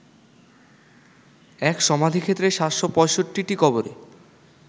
এক সামাধিক্ষেত্রে ৭৬৫টি কবরে